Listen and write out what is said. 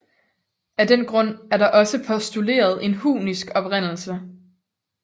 Af den grund er der også postuleret en hunnisk oprindelse